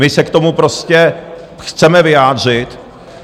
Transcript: My se k tomu prostě chceme vyjádřit.